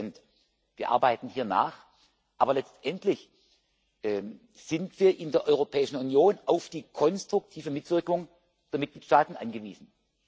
100 Wir arbeiten hier nach, aber letztendlich sind wir in der Europäischen Union auf die konstruktive Mitwirkung der Mitgliedstaaten angewiesen.